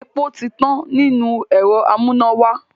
Epo ti tán nínú ẹ̀rọ amúnáwá.